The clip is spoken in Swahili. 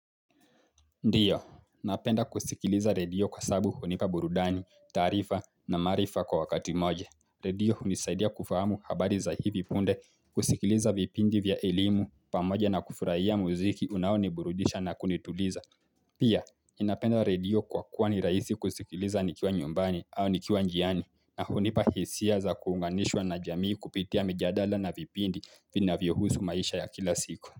Ndiyo, napenda kusikiliza redio kwa sababu hunipa burudani, taarifa na maarifa kwa wakati moja. Radio hunisaidia kufahamu habari za hivi punde kusikiliza vipindi vya elimu pamoja na kufurahia muziki unaoni burudisha na kunituliza. Pia, ninapenda radio kwa kuwa ni rahisi kusikiliza nikiwa nyumbani au nikiwa njiani na hunipa hisia za kuunganishwa na jamii kupitia mijadala na vipindi vinavyohusu maisha ya kila siku.